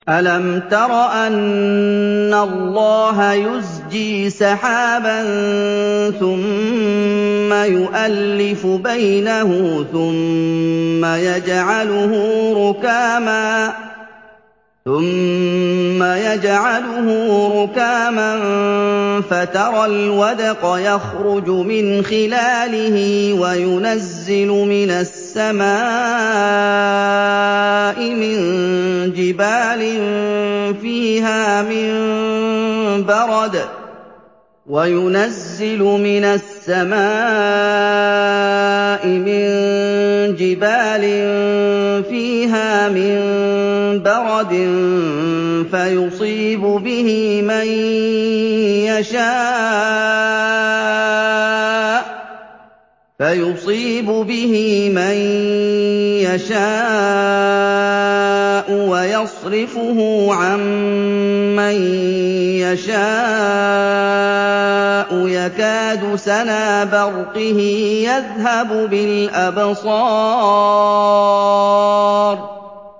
أَلَمْ تَرَ أَنَّ اللَّهَ يُزْجِي سَحَابًا ثُمَّ يُؤَلِّفُ بَيْنَهُ ثُمَّ يَجْعَلُهُ رُكَامًا فَتَرَى الْوَدْقَ يَخْرُجُ مِنْ خِلَالِهِ وَيُنَزِّلُ مِنَ السَّمَاءِ مِن جِبَالٍ فِيهَا مِن بَرَدٍ فَيُصِيبُ بِهِ مَن يَشَاءُ وَيَصْرِفُهُ عَن مَّن يَشَاءُ ۖ يَكَادُ سَنَا بَرْقِهِ يَذْهَبُ بِالْأَبْصَارِ